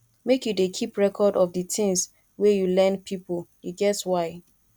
make you dey keep record of di tins wey you lend pipo e get why